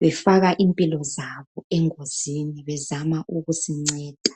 Befaka impilo zabo engozini bezama ukusinceda.